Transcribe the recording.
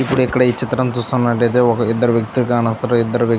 ఈ ఇక్కడ చిత్రం చూస్తున్నట్టయితే ఒక ఇద్దరు వ్యక్తులు కనొస్తున్నారు. ఇద్దరు వ్యక్తులు --